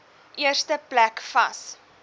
eerste plek vas